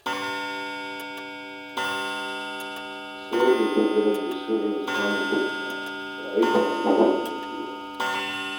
Sayar da zogale ne sirrin samun kuɗina ba aikin albashin da nake yi ba